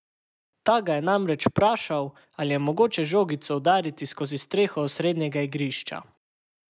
Ta ga je namreč vprašal, ali je mogoče žogico udariti skozi streho osrednjega igrišča.